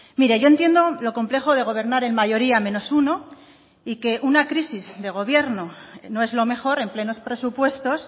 mire yo entiendo lo complejo de gobernar en mayoría menos uno y que una crisis de gobierno no es lo mejor en plenos presupuestos